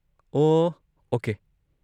ꯑꯣꯍ, okay.